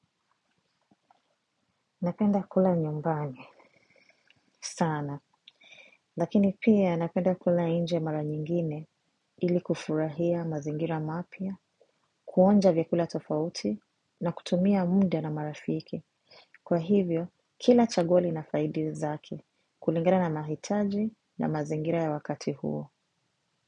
Napenda kula nyumbani sana, lakini pia napenda kula inje mara nyingine ili kufurahia mazingira mapya, kuonja vyakula tofauti na kutumia mude na marafiki. Kwa hivyo, kila chaguo lina faidi zake kulingana na mahitaji na mazingira ya wakati huo.